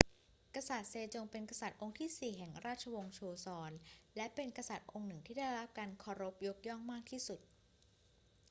กษัตริย์เซจงเป็นกษัตริย์องค์ที่สี่แห่งราชวงศ์โชซอน และเป็นกษัตริย์องค์หนึ่งที่ได้รับการเคารพยกย่องมากที่สุด